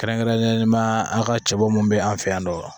Kɛrɛnkɛrɛnnenya an ka cɛbɔ mun bɛ an fɛ yan nɔ